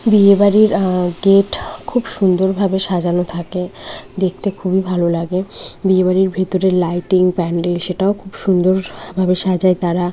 বিয়ে বাড়ির আ গেট খুব সুন্দরভাবে সাজানো থাকে দেখতে খুবই ভালো লাগে। বিয়ে বাড়ির ভেতরের লাইটিং প্যান্ডেল সেটাও খুব সুন্দর ভাবে সাজায় তারা।